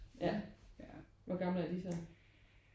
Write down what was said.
Ja hvor gamle er de så?